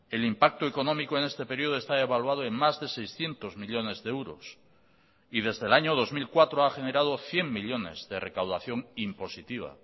el impacto económico en este periodo está evaluado en más de seiscientos millónes de euros y desde el año dos mil cuatro ha generado cien millónes de recaudación impositiva